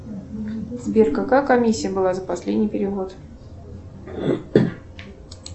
сбер какая комиссия была за последний перевод